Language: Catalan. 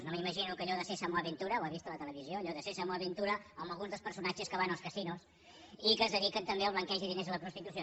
no m’imagino que allò de sésamo aventura ho ha vist a la televisió allò de sésamo aventura amb alguns dels personatges que van als casinos i que es dediquen també al blanqueig de diners de la prostitució